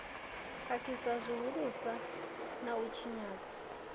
khakhisa zwihulusa na u tshinya